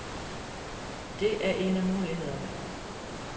Det er en af mulighederne.